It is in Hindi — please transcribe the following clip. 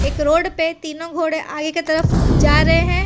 एक रोड पे तीनों घोड़े आगे की तरफ जा रहे हैं।